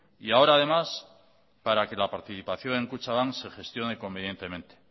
y ahora además para que la participación en kutxabank se gestione convenientemente